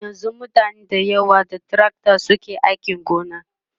yanzun mutane da yawa da tracta suke ainki gona